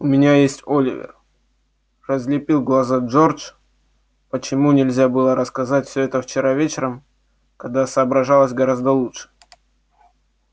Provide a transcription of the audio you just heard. у меня есть оливер разлепил глаза джордж почему нельзя было рассказать всё это вчера вечером когда соображалось гораздо лучше